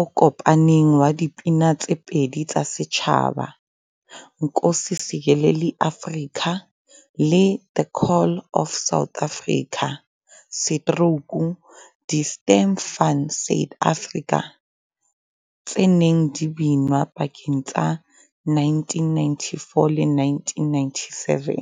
o kopaneng wa dipina tse pedi tsa setjhaba, 'Nkosi Sikelel' iAfrika' le 'The Call of South Africa', 'Die Stem van Suid-Afrika', tse neng di binwa pakeng tsa 1994 le 1997.